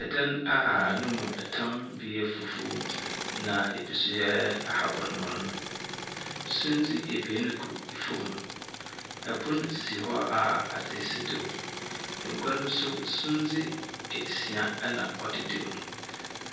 Ɛdan a ne mu tam bi yɛ fufuw na ebiso yɛ ababanmon. Sundzi abien gu fam. Pon si hɔ a adze si do. Agua no so sundze asia na ɔdedam,